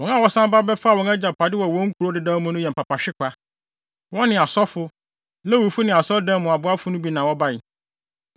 Wɔn a wɔsan ba bɛfaa wɔn agyapade wɔ wɔn nkurow dedaw mu no yɛ mpapahwekwa. Wɔne asɔfo, Lewifo ne asɔredan mu aboafo no bi na wɔbae.